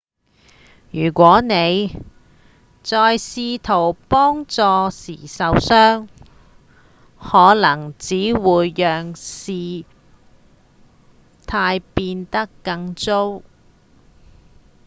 如果你在試圖幫助時受傷可能只會讓事態變得更糟